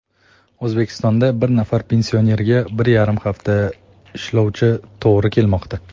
O‘zbekistonda bir nafar pensionerga bir yarim nafar ishlovchi to‘g‘ri kelmoqda.